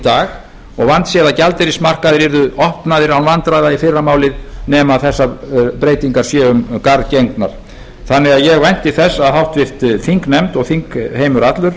dag og vandséð að gjaldeyrismarkaðir verði opnaðir án vandræða í fyrramálið nema þessar breytingar verði um garð gengnar ég vænti þess að háttvirtur þingnefnd og þingheimur allur